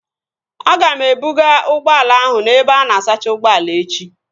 Aga m ebuga ụgbọala ahụ n'ebe ana asacha ụgbọala echi